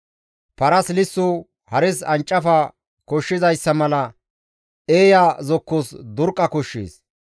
Parasi lisso, hares ancafa koshshizayssa mala, eeya zokkozas durqqa koshshees.